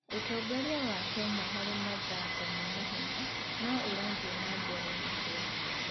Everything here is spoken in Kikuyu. Ũtongoria wa Kenya harĩ mathako ma mahenya no ũrathiĩ na mbere na gũkũra.